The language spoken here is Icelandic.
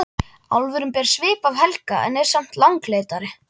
Álfurinn ber svip af Helga en er samt langleitari.